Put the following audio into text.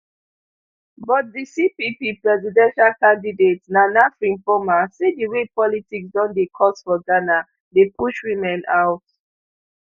but di cpp presidential candidate nana frimpomaa say di way politics don dey cost for ghana dey push women out